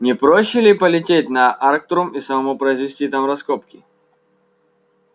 не проще ли полететь на арктур и самому произвести там раскопки